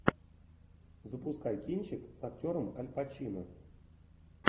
запускай кинчик с актером аль пачино